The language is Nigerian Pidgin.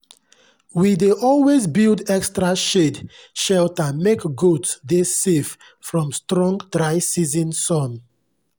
we dey always build extra shade shelter make goats dey safe from strong dry season sun.